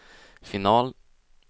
final